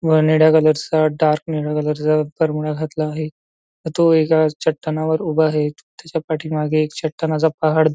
व निळ्या कलरचा डार्क निळ्या कलर चा बरमोडा घातला आहे व तो एका चट्टानावर उभा आहे. त्याच्यापाठी मागे चट्टानाचा पहाड दि--